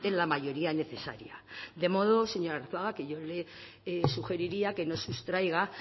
la mayoría necesaria de modo señor arzuaga que yo le sugeriría que no sustraiga